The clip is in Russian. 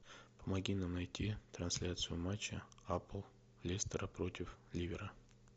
помоги нам найти трансляцию матча апл лестера против ливера